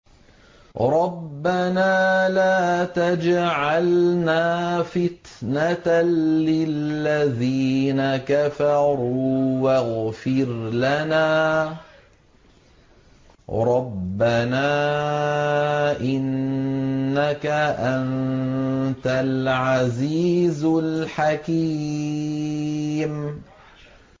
رَبَّنَا لَا تَجْعَلْنَا فِتْنَةً لِّلَّذِينَ كَفَرُوا وَاغْفِرْ لَنَا رَبَّنَا ۖ إِنَّكَ أَنتَ الْعَزِيزُ الْحَكِيمُ